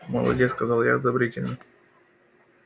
молодец сказал я одобрительно